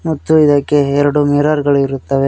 ಮತ್ತು ಇದಕ್ಕೆ ಎರಡು ಮಿರರ್ ಗಳಿರುತ್ತಾವೆ.